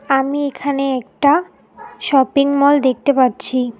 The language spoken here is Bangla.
আমি এখানে একটা শপিং মল দেখতে পাচ্ছি।